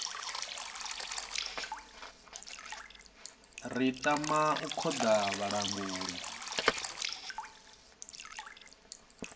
ri tama u khoḓa vhalanguli